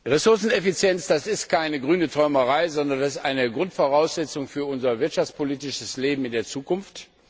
Ressourceneffizienz ist keine grüne Träumerei, sondern eine Grundvoraussetzung für unser wirtschaftspolitisches Leben in der Zukunft.